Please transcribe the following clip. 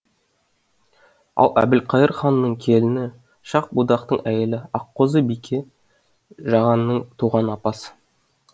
ал әбілқайыр ханның келіні шах будақтың әйелі аққозы бике жағанның туған апасы